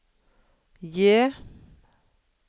J